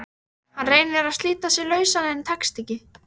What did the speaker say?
Hann reynir að slíta sig lausan en tekst ekki.